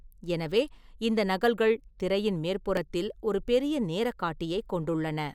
எனவே இந்த நகல்கள் திரையின் மேற்புறத்தில் ஒரு பெரிய நேர காட்டியைக் கொண்டுள்ளன.